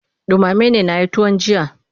Ɗumame na yi da tuwon jiya.